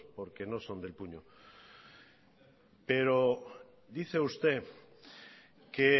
porque no son del puño pero dice usted que